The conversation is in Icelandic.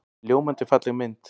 Ljómandi falleg mynd.